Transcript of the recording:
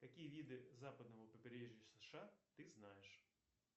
какие виды западного побережья сша ты знаешь